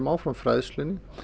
áfram fræðslunni